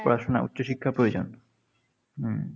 পড়াশোনা উচ্চ শিক্ষা প্রয়োজন। হম